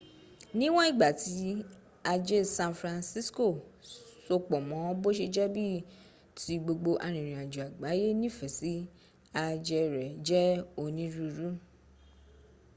níwọn ìgbà tí aje san francisco sopọ mọ bó ṣe jẹ́ ibi ti gbogbo arìnrìnajo àgbáyẹ nífẹsí ajẹ́ rẹ jẹ́ oníruurú